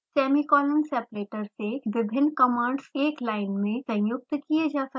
semicolon separator से विभिन्न commands एक लाइन में संयुक्त किये जा सकते हैं